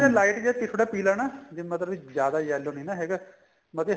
light ਜਾ ਪਿਪੜਾ ਪੀਲਾ ਨਾ ਜੇ ਮਤਲਬ ਕੀ ਜਿਆਦਾ yellow ਨੀ ਨਾ ਹੈਗਾ ਮਤਲਬ ਕੀ